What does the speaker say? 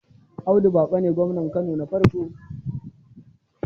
Alh. Audu Baƙo ne gwamnan Kano na farko